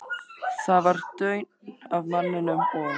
Það var daunn af manninum, og